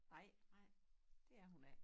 Nej det er hun ikke